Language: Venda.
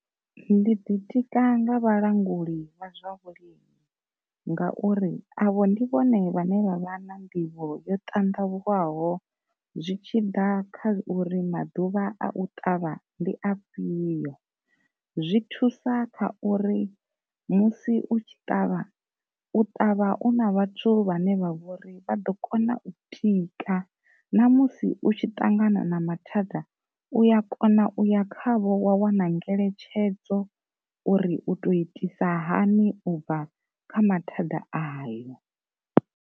Ndi ḓi tika nga vhalanguli vha zwa vhulimi, ngauri avho ndi vhone vhane vha vha na nḓivho yo ṱandavhuwaho zwi tshi ḓa kha uri maḓuvha a u ṱavha ndi a fhiyo, zwi thusa kha uri musi u tshi ṱavha u ṱavha u na vhathu vhane vha vhori vha ḓo kona u tika ṋamusi u tshi ṱangana na mathada uya kona uya khavho wa wana ngeletshedzo uri u to itisa hani u bva kha mathada ayo.